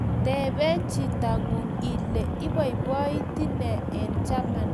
Teben chitong'ung ile iboiboiti ne eng' chamanet.